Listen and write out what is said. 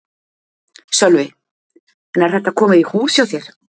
Sölvi: En er þetta komið í hús hjá þér?